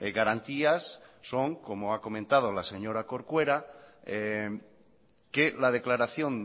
garantías son como ha comentado la señora corcuera que la declaración